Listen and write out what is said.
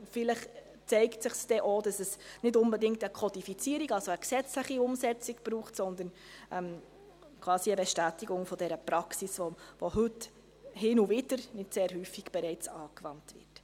Vielleicht zeigt sich dann auch, dass es nicht unbedingt eine Kodifizierung, also eine gesetzliche Umsetzung, braucht, sondern quasi eine Bestätigung dieser Praxis, welche heute schon, hin und wieder, nicht sehr häufig, bereits angewandt wird.